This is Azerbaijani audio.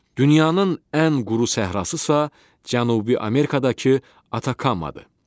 Dünyanın ən quru səhrası isə Cənubi Amerikadakı Atakamadır.